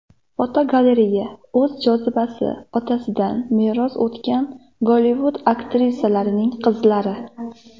Fotogalereya: O‘z jozibasi otalaridan meros o‘tgan Gollivud aktyorlarining qizlari.